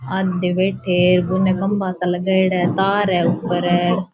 आधे बैठे हैं और बीने खंबा सा लगाएडा है तार है ऊपर --